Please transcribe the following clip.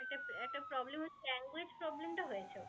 Language problem টা হয়েছে